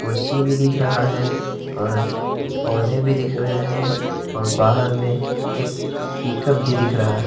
कुर्सी भी दिख रहा है और पौधे भी दिख रहे हैं और बाहर में एक पिकअप भी दिख रहा--